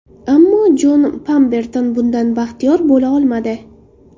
Ammo Jon Pamberton bundan baxtiyor bo‘la olmadi.